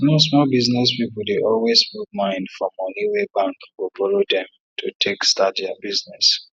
small small business people dey always put mind for money wey bank go borrow dem to take start their business